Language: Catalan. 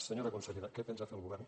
senyora consellera què pensa fer el govern